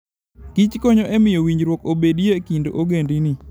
Kich konyo e miyo winjruok obedie e kind ogendini.